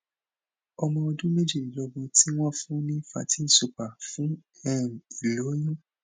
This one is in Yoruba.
ọmọ ọdún méjìdínlógún ti won fun ni fertyl super fún um ìloyun